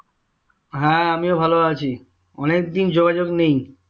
হ্যাঁ আমিও ভালো আছি অনেকদিন যোগাযোগ নেই